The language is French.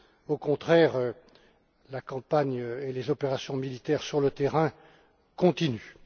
Au contraire, la campagne et les opérations militaires sur le terrain continuent.